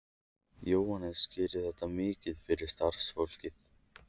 Jóhannes: Gerir þetta mikið fyrir starfsfólkið?